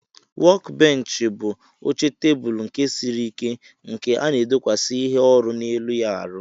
Wọk bench bu oche teblu nke siri ike nke ana edokwasi ihe orụ na elu ya arụ.